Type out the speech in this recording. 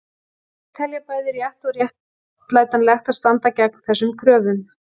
Margir telja bæði rétt og réttlætanlegt að standa gegn þessum kröfum.